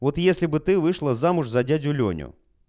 вот если бы ты вышла замуж за дядю лёню